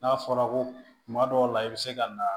N'a fɔra ko kuma dɔw la i bɛ se ka na